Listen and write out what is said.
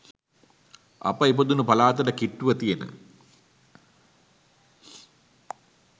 අප ඉපදුන පලාතට කිට්ටුව තියෙන